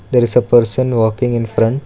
there is a person walking infront--